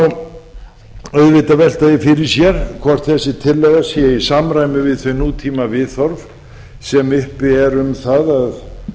má auðvitað velta því fyrir sér hvort þessi tillaga sé í samræmi við nútímaviðhorf sem uppi eru um það að